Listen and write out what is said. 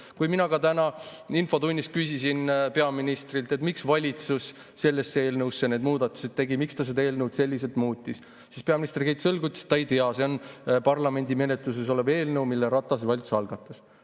Kui mina ka täna infotunnis küsisin peaministrilt, miks valitsus sellesse eelnõusse need muudatused tegi, miks ta seda eelnõu selliselt muutis, siis peaminister kehitas õlgu ja ütles, et ta ei tea, see on parlamendi menetluses olev eelnõu, mille Ratase valitsus algatas.